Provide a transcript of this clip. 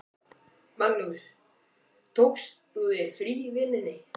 Magnús: Tókst þú þér frí í vinnunni?